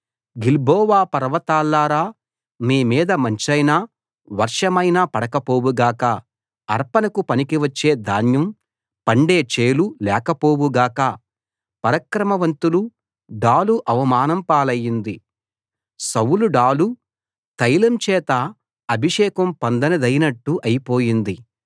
Gilboa పర్వతాల్లారా మీ మీద మంచైనా వర్షమైనా పడకపోవు గాక అర్పణకు పనికి వచ్చే ధాన్యం పండే చేలు లేకపోవు గాక పరాక్రమవంతుల డాలు అవమానం పాలయింది సౌలు డాలు తైలం చేత అభిషేకం పొందనిదైనట్టు అయిపోయింది